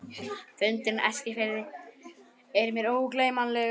Fundurinn á Eskifirði er mér ógleymanlegur.